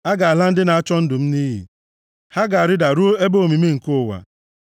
A ga-ala ndị na-achọ ndụ m nʼiyi; ha ga-arịda ruo ebe omimi nke ụwa.